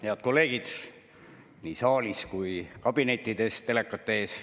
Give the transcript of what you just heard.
Head kolleegid nii saalis kui ka kabinetis teleka ees!